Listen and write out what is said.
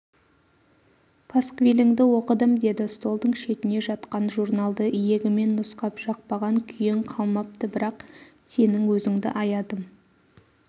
пасквиліңді оқыдым деді столдың шетінде жатқан журналды иегімен нұсқап жақпаған күйең қалмапты бірақ сенің өзіңді аядым